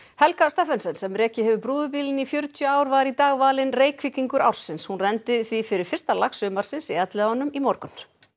Helga Steffensen sem rekið hefur brúðubílinn í fjörutíu ár var í dag valin Reykvíkingur ársins hún renndi því fyrir fyrsta lax sumarsins í Elliðaánum í morgun